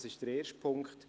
Das ist der erste Punkt.